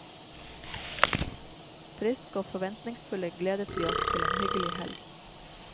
Friske og forventningsfulle gledet vi oss til en hyggelig helg.